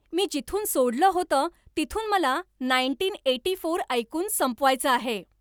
मी जिथून सोडलं होतं तिथून मला नाईन्टीन एटी फोर ऐकून संपवायचं आहे.